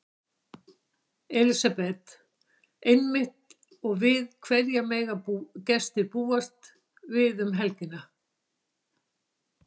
Elísabet: Einmitt og við hverju mega gestir búast við um helgina?